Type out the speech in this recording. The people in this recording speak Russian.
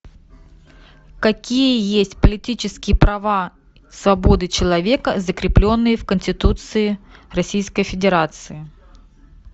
какие есть политические права свободы человека закрепленные в конституции российской федерации